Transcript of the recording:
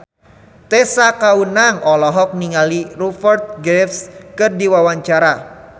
Tessa Kaunang olohok ningali Rupert Graves keur diwawancara